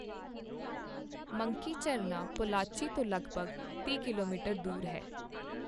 Monkey ਝਰਨਾ ਪੋਲਾਚੀ ਤੋਂ ਲਗਭਗ ਤੀਹ ਕਿਲੋਮੀਟਰ ਦੂਰ ਹੈ।